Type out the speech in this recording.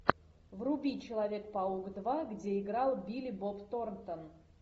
вруби человек паук два где играл билли боб торнтон